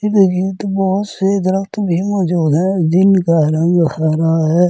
देखिए तो बहुत से दरक्त भी मौजूद है जिनका रंग हरा है।